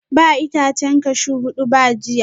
Ba itacen cashew hudu ba jiya?